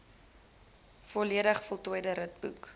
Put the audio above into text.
volledig voltooide ritboek